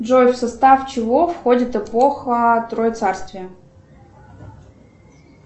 джой в состав чего входит эпоха троецарствия